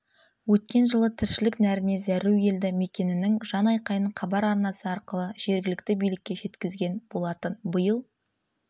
өткен жылы тіршілік нәріне зәру елді мекеннің жан айқайын хабар арнасы арқылы жергілікті билікке жеткізген болатын биыл